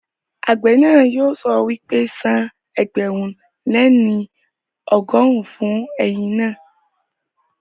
Àgbẹ̀ náà yóò sọ wípé, san ẹgbẹ̀rún lé ní ọgọ́rùn-ún fún ẹ̀yìn naa